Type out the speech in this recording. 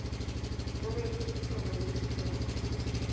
ho be le lesoba lebitleng